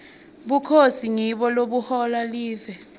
bukhosi ngibo lobuhola live